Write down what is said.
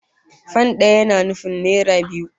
Fan daya yana nufin naira biyu